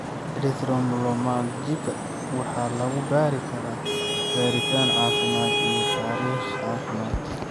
Erythromelalgika waxaa lagu baari karaa baaritaan caafimaad iyo taariikh caafimaad.